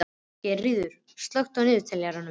Geirríður, slökktu á niðurteljaranum.